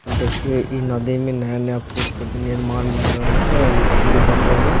देखियो इ नदी मे नया-नया पूल के निर्माण भए रहल छै और इ पूल बनवे मे --